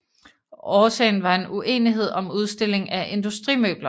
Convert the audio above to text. Årsagen var en uenighed om udstilling af industrimøbler